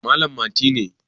Malam Mati ne